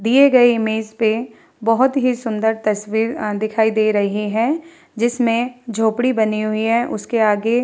दिए गए इमेज पे बहुत ही तस्वीर अ दिखाई दे रही है जिसमें झोपड़ी बनी हुई है उसके आगे --